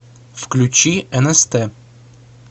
включи нст